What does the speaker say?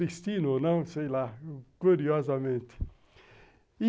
Destino ou não, sei lá, curiosamente.